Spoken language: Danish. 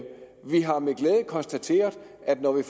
konstateret at når vi